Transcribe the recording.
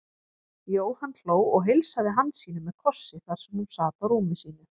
Jóhann hló og heilsaði Hansínu með kossi þar sem hún sat á rúmi sínu.